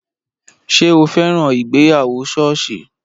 Ṣé o fẹ́ràn ìgbéyàwó ṣọ́ọ̀ṣì?